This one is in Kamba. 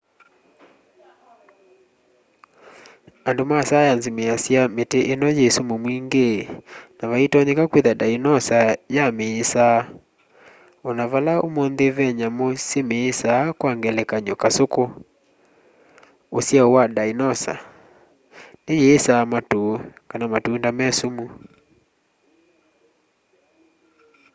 andu ma saienzi measya miti ino yi sumu mwingi na vaitonyeka kwitha ndainosa ya miisaa ona vala umunthi ve nyamu simisaa kwa ngelekany'o kasuku usyao wa ndainosa niyiisaa matu kana matunda me sumu